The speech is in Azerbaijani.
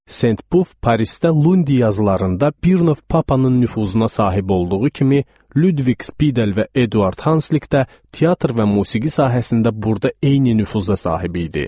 Sen Pub Parisdə Lundi yazılarında Birnov Papanın nüfuzuna sahib olduğu kimi, Ludviq Spidel və Eduard Hanslik də teatr və musiqi sahəsində burada eyni nüfuza sahib idi.